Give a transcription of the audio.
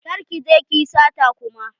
Kar ki je ki yi sata kuma.